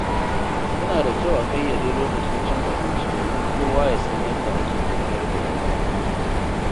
Yana da kyau a ƙayyade lokacin cin abinci domin kowa ya san yadda ake tafiyar da lamura.